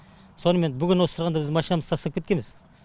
сонымен бүгін осы тұрғанда біз машинамызды тастап кеткеміз